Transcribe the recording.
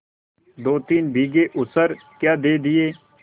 दोतीन बीघे ऊसर क्या दे दिया